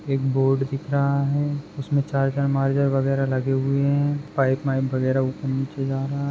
एक बोर्ड दिख रहा है उसमे उसमे चार्जर मार्जर वगेरा लगे हुए है पाइप माईप वगेरा ऊपर नीचे जा रहा है।